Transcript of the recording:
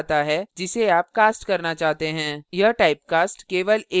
यह typecast केवल एक एकलoperation के लिए वैध होता है